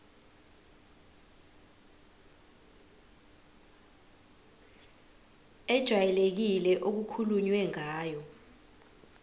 ejwayelekile okukhulunywe ngayo